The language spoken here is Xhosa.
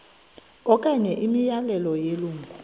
okanye imiyalelo yelungu